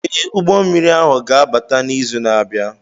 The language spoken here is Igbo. Ee, ụgbọ mmiri ahụ ga-abata n'izu na-abịa.